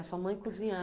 E a sua mãe cozinhava.